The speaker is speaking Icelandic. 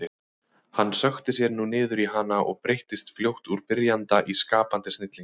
Hann sökkti sér nú niður í hana og breyttist fljótt úr byrjanda í skapandi snilling.